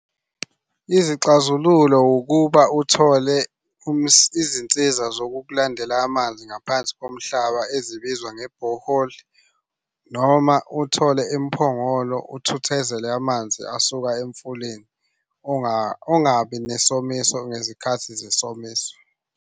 Izixazululo ukuba uthole izinsiza zokukulandela amanzi ngaphansi komhlaba ezibizwa nge-borehole noma uthole imiphongolo uthuthezele amanzi asuka emfuleni. Ungabi nesomiso ngezikhathi zesomiso.